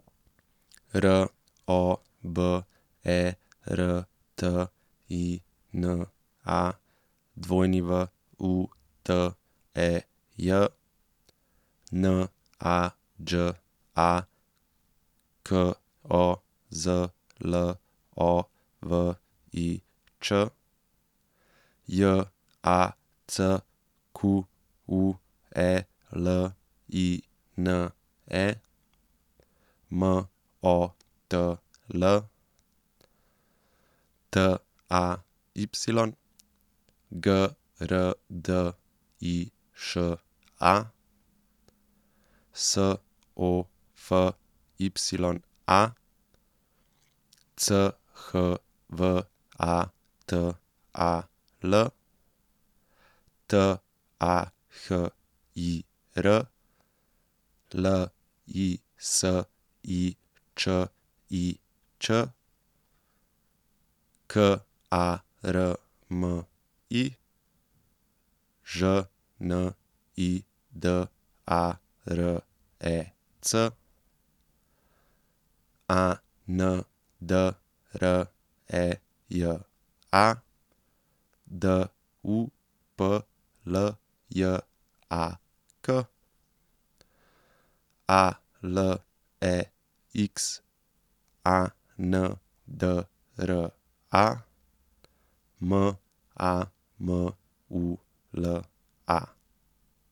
R O B E R T I N A, W U T E J; N A Đ A, K O Z L O V I Č; J A C Q U E L I N E, M O T L; T A Y, G R D I Š A; S O F Y A, C H V A T A L; T A H I R, L I S I Č I Ć; K A R M I, Ž N I D A R E C; A N D R E J A, D U P L J A K; A L E X A N D R A, M A M U L A.